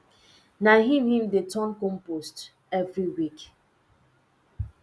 na him him dey turn compost every week